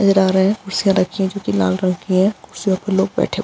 नजर आ रहें हैं कुर्सियाँ रखी हैं जो की लाल लाल रंग की है कुर्सियों पर लोग बैठे हुए --